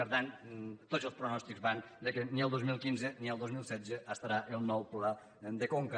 per tant tots els pronòstics van que ni el dos mil quinze ni el dos mil setze estarà el nou pla de conca